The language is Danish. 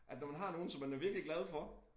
At når man har nogen som man er virkelig glad for